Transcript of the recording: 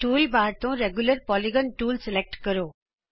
toolbar ਤੋਂ regular polygon tool select ਕਰੋ